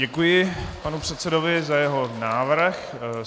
Děkuji panu předsedovi za jeho návrh.